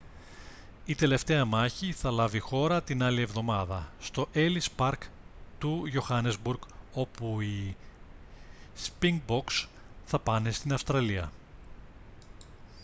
η τελευταία μάχη θα λάβει χώρα την άλλη εβδομάδα στο έλις παρκ του johannesburg όπου οι σπινγκμποκς θα πάνε στην αυστραλία